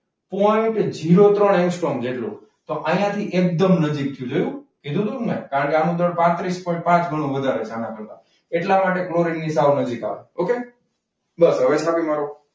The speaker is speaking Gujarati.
પોઈન્ટ જીરો ત્રણ એંગ્સ્ટ્રોમ જેટલું. તો અહીંયા થી એકદમ નજીક થયું. જોયું? કીધું હતું ને મેં કારણ કે આનું દળ પાત્રીસ પોઇન્ટ પાંચ ગણું વધારે છે આના કરતા. એટલા માટે ક્લોરીન ની સાવ નજીક આવે. okay બસ હવે ગણી કાઢો.